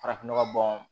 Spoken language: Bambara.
Farafin nɔgɔ bɔn